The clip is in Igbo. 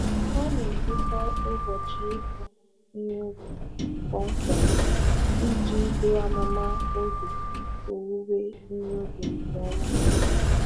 Ọ na-edekọ ụbọchị ịkụ ihe ubi kpọmkwem iji buru amụma oge owuwe ihe ubi nke ọma.